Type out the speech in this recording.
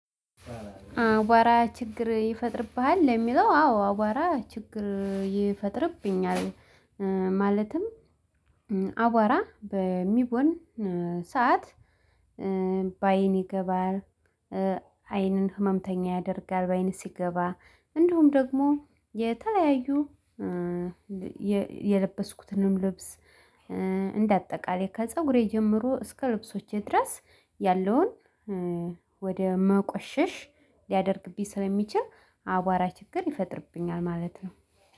አቧራ ችግር ይፈጥርብሃል? ለሚለው አዎ አዋራ ችግር ይፈጥርብኛል። ማለትም አቧራ በሚቦን ሰዓት በአይን ይገባል አይንን ህመምተኛ ያደርጋል። ባይን ሲገባ እንዲሁም ደግሞ የተለያዩ። የለበስኩትንም ልብስ እንደ አጠቃላይ ከፀጉሬ ጀምሮ እስከ ልብሶቼ ድረስ ያለውን ወደ ማቆሸሽ ሊያደርግብኝ ስለሚችል አቧራ ችግር ይፈጥርብኛል። ማለት ነው።